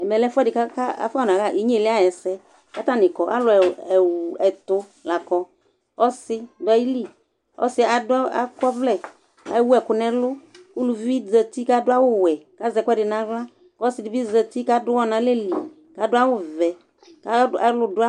ɛmɛ lɛ ɛfʊɛdɩ kʊ afɔ naɣa inyeli ayʊ ɛsɛ, kʊ alʊ ɛtʊ la kɔ, ɔsi dʊ ayili, ɔsi yɛ akɔ ɔvlɛ kʊ ewu ɛkʊ nʊ ɛlʊ, uluvi zati kʊ adʊ awu wɛ kʊ azɛ ɛkʊɛdɩ nʊ aɣla, ɔsi yɛ bɩ zati kʊ adʊ uwɔ nʊ alɛ li, kʊ adʊ awu vɛ